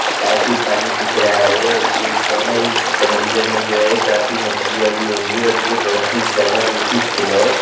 काफी पानी दिख रहा है और जो इस समंदर में जो है काफी मछलियां भी होंगी और ये बहोत ही ज्यादा ब्यूटीफुल है।